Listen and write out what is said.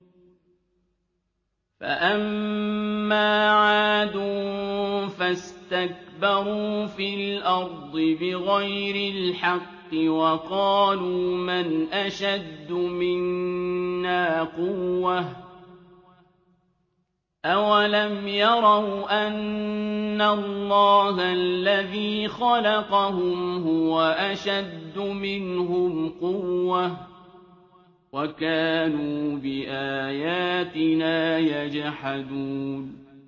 فَأَمَّا عَادٌ فَاسْتَكْبَرُوا فِي الْأَرْضِ بِغَيْرِ الْحَقِّ وَقَالُوا مَنْ أَشَدُّ مِنَّا قُوَّةً ۖ أَوَلَمْ يَرَوْا أَنَّ اللَّهَ الَّذِي خَلَقَهُمْ هُوَ أَشَدُّ مِنْهُمْ قُوَّةً ۖ وَكَانُوا بِآيَاتِنَا يَجْحَدُونَ